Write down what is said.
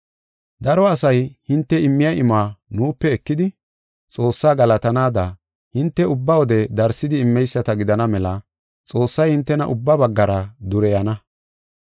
Daro asay hinte immiya imuwa nuupe ekidi, Xoossaa galatanaada, hinte ubba wode darsidi immeyisata gidana mela Xoossay hintena ubba baggara dureyana.